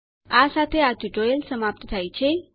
આ સાથે આ ટ્યુટોરીયલ સમાપ્ત થાય છે